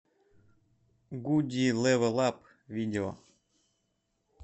гуди лэвэл ап видео